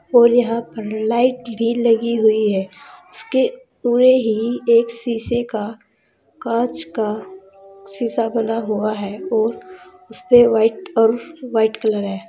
और यहाँ पर लाइट भी लगी हुई है उसके उरे ही एक शीशे के कांच का शीशा बना हुआ हे और उस पे व्हाइट और कलर है।